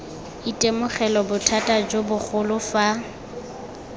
itemogela bothata jo bogolo fa